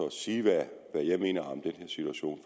at sige hvad jeg mener om den her situation